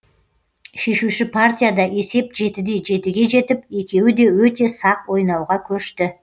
шешуші партияда есеп жетіде жетіге жетіп екеуі де өте сақ ойнауға көшті